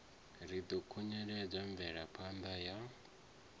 ri ḓo khunyeledza mvelaphanda ya